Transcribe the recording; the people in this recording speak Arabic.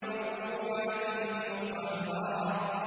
مَّرْفُوعَةٍ مُّطَهَّرَةٍ